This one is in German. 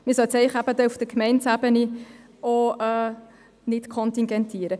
Man sollte sie eigentlich auch auf Gemeindeebene nicht kontingentieren.